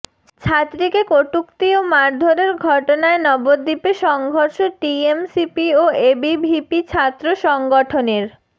ছাত্রীকে কটূক্তি ও মারধরের ঘটনায় নবদ্বীপে সংঘর্ষ টিএমসিপি ও এবিভিপি ছাত্র সংগঠনের